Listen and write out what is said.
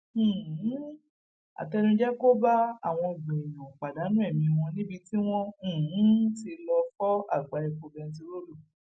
um àtẹnujẹ kò bá àwọn ọgbọn èèyàn pàdánù ẹmí wọn níbi tí wọn um ti lọọ fọ àgbá epo bẹntiróòlù